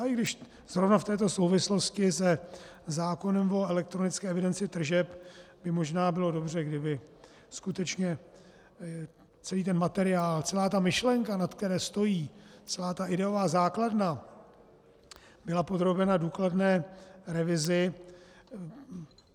Ale i když zrovna v této souvislosti se zákonem o elektronické evidenci tržeb by možná bylo dobře, kdyby skutečně celý ten materiál, celá ta myšlenka, na které stojí, celá ta ideová základna byla podrobena důkladné revizi.